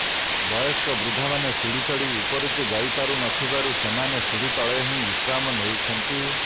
ବୟସ୍କ ବୃଦ୍ଧାମାନେ ସିଡ଼ି ଚଢି ଉପରକୁ ଯାଇପାରୁନଥିବାରୁ ସେମାନେ ସିଡି ତଳେ ହିଁ ବିଶ୍ରାମ ନେଉଛନ୍ତି